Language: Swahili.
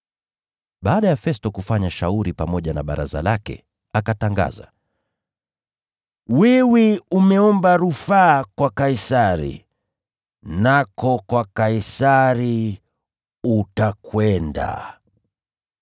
Baada ya Festo kufanya shauri pamoja na baraza lake, akatangaza, “Wewe umeomba rufaa kwa Kaisari, nako kwa Kaisari utakwenda!”